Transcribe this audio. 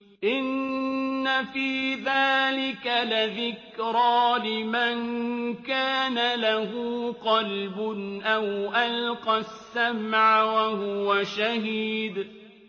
إِنَّ فِي ذَٰلِكَ لَذِكْرَىٰ لِمَن كَانَ لَهُ قَلْبٌ أَوْ أَلْقَى السَّمْعَ وَهُوَ شَهِيدٌ